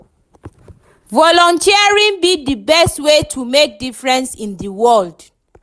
Volunteering be di best way to make difference in di world.